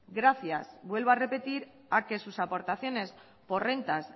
gracias vuelvo a repetir a que sus aportaciones por rentas